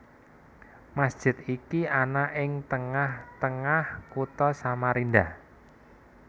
Masjid iki ana ing tengah tengah Kutha Samarinda